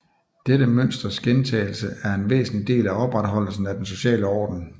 Dette mønsters gentagelse er en væsentlig del af opretholdelsen af den sociale orden